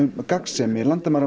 gagnsemi